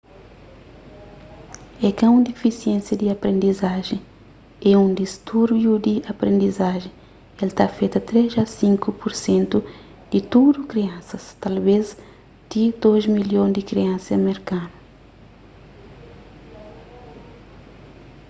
é ka un difisiénsia di aprendizajen é un distúrbiu di aprendizajen el ta afeta 3 a 5 pur sentu di tudu kriansas talvês ti 2 milhon di kriansa merkanu